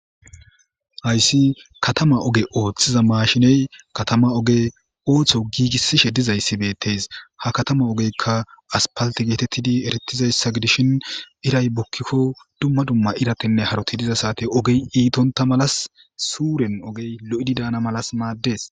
hayssi katama oge ooththiza mashiney katama oge ooththo giigissishe dizayssi beettes ha katama ogeykka aspalti geetettidi erettizayssa gidishin iray bukkikko dumma dumma iratenne haroti diza saate ogey iitonta malas suuren ogey lo'idi daana malas maaddees